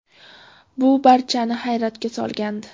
Bu barchani hayratga solgandi.